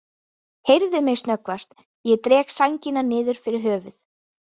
Heyrðu mig snöggvast, ég dreg sængina niður fyrir höfuð.